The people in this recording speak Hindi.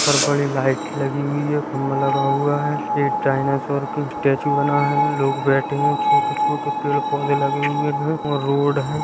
सर पर एक लाइट लगी हुई है। खम्बा लगा हुआ है एक डाइनासोर का स्टैचू बना है लोग बेठे है छोटे-छोटे पेड़ पौधे लगे हुए हैं और रोड हैं।